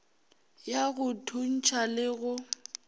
ya go thuntšha le go